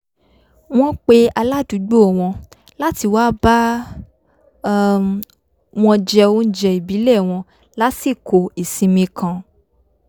wọ́n pe aládùúgbò wọn láti wá bá um wọn jẹ oúnjẹ ìbílẹ̀ wọn lásìkò ìsinmi kan